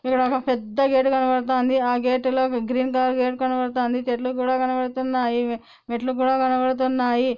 ఈడ ఒక పెద్ద గేట్ కనపడతాంది. ఆ గేట్ లో గ్రీన్ కలర్ గేట్ కనపడతాంది. చెట్లు కూడా కనబడుతన్నాయి. మెట్లు కూడా కనపడుతున్నాయి.